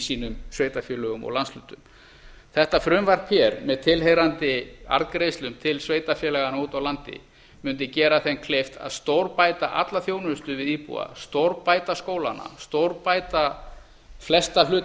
sínum sveitarfélögum og landshlutum þetta frumvarp með tilheyrandi arðgreiðslum til sveitarfélaganna úti á landi mundi gera þeim kleift að stórbæta alla þjónustu við íbúa stórbæta skólana stórbæta flesta hluti